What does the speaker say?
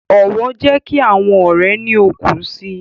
Ọwọ jẹ ki awọn ọrẹ ni òkun síi